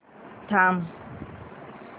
थांब